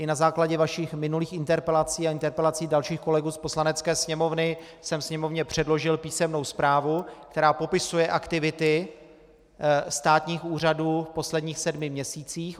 I na základě vašich minulých interpelací a interpelací dalších kolegů z Poslanecké sněmovny jsem Sněmovně předložil písemnou zprávu, která popisuje aktivity státních úřadů v posledních sedmi měsících.